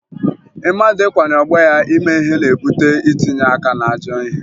Mmadụ ikwanye ọgbọ ya ime ihe na-ebute itinye aka n'ajọ ihe